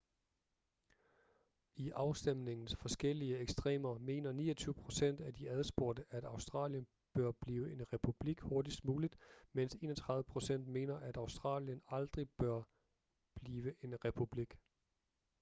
i afstemningens forskellige ekstremer mener 29 procent af de adspurgte at australien bør blive en republik hurtigst muligt mens 31 procent mener at australien aldrig bør blive en republik